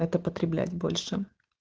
это потреблять больше